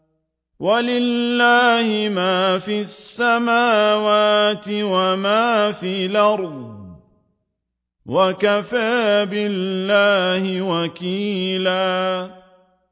وَلِلَّهِ مَا فِي السَّمَاوَاتِ وَمَا فِي الْأَرْضِ ۚ وَكَفَىٰ بِاللَّهِ وَكِيلًا